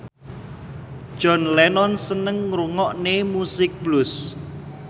John Lennon seneng ngrungokne musik blues